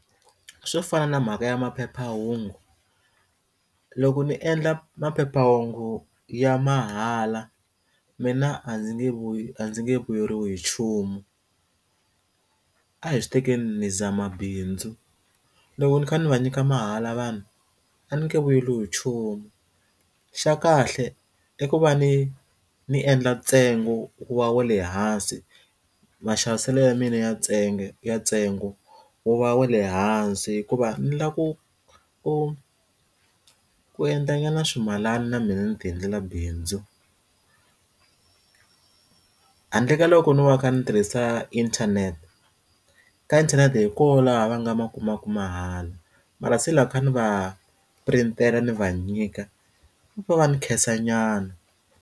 Swo fana na mhaka ya maphephahungu loko ni endla maphephahungu ya mahala mina a ndzi nge vu a ndzi nge vuyeriwi hi nchumu a hi swi tekeni ni zama bindzu loko ni kha ni va nyika mahala vanhu a ni nge vuyeriwi hi nchumu xa kahle i ku va ni ni endla ntsengo wa le hansi maxaviselo ya mina ya ntsengo ya ntsengo wo va wa le hansi hikuva ni lava ku ku ku endla nyana ximalana na mina ni ti endlela bindzu handle ka loko ni va ni tirhisa inthanete ka inthanete hi kona laha va nga ma kumaka mahala mara se loko kha ni va print-tela tlhela ni va nyika va va ni khensa nyana.